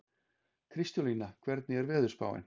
Kristólína, hvernig er veðurspáin?